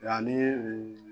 Yani